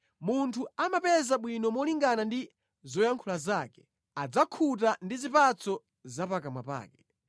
Munthu amapeza bwino malingana ndi zoyankhula zake. Adzakhuta ndi zipatso za pakamwa pake.